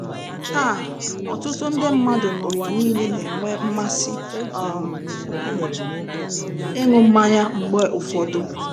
Taa, ọtụtụ nde mmadụ n'ụwa nile na-enwe mmasị um ịṅụ mmanya mgbe ụfọdụ.